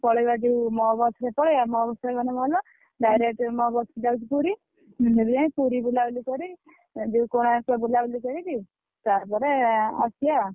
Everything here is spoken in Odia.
ପଳେଇବା ଯୋଉ ମୋ bus ରେ ପଳେଇବା। ମୋ bus ରେ ଗଲେ ଭଲ। direct ମୋ bus ଯାଉଚି ପୁରୀ। ଆମେ ସେଠୁ ଜାଇଁ ପୁରୀ ବୁଲାବୁଲି କରି ଯୋଉ କୋଣାର୍କ ବୁଲାବୁଲି କରିକି ତାପରେ ଆସିଆ।